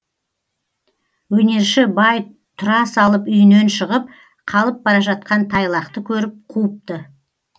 өнерші бай тұра салып үйінен шығып қалып бара жатқан тайлақты көріп қуыпты